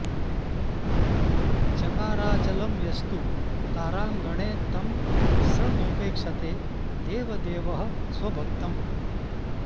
चकाराचलं यस्तु ताराङ्गणे तं स नोपेक्षते देवदेवः स्वभक्तम्